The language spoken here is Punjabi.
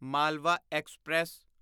ਮਾਲਵਾ ਐਕਸਪ੍ਰੈਸ